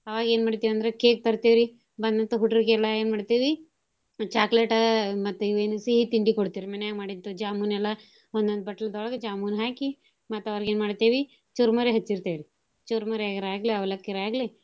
ಅವಾಗ್ ಎನ್ ಮಾಡ್ತಿವ್ ಅಂದ್ರ cake ತರ್ತೇವ್ ರಿ ಬಂದಂತ ಹೂಡ್ರ್ ಗೆಲ್ಲಾ ಎನ್ ಮಾಡ್ತೀವಿ chocolate ಮತ್ತ ಇವೇನ್ ಸಿಹಿ ತಿಂಡಿ ಕೊಡ್ತೇವ್ ರಿ ಮನ್ಯಾಗ್ ಮಾಡಿದ್ದ jamun ಎಲ್ಲಾ ಒಂದೊಂದ್ ಬಟ್ಲದೋಳ್ಗ jamun ಹಾಕಿ ಮತ್ತ್ ಅವ್ರೀಗ್ ಎನ್ ಮಾಡ್ತೇವಿ ಚುರುಮರಿ ಹಚ್ಚಿರ್ತೇವ್ರಿ ಚುರುಮರಿಯರ್ ಆಗ್ಲಿ ಅವ್ಲಕ್ಕಿಯರ್ ಆಗ್ಲಿ.